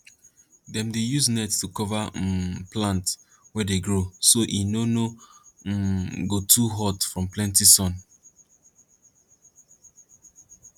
dem dey use net to cover um plant wey dey grow so e no no um go too hot from plenty sun